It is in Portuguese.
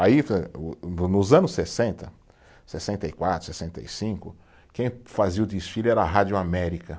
Aí, o o, nos anos sessenta, sessenta e quatro, sessenta e cinco, quem fazia o desfile era a Rádio América.